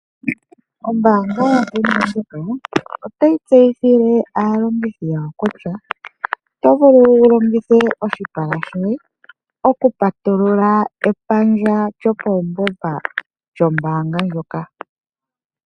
Ombaanga yaBank Windhoek otayi tseyithile aalongithi yawo kutya oto vulu wu longithe oshipala shoye okupatulula epandja lyopaungomba lyombaanga ndjoka.